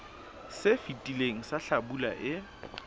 se fetileng sa hlabula e